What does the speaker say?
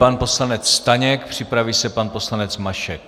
Pan poslanec Staněk, připraví se pan poslanec Mašek.